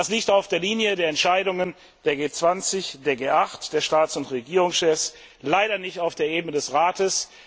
Das liegt auch der Linie der Entscheidungen der G 20, der G 8, der Staats und Regierungschefs, leider nicht auf der Ebene des Rates.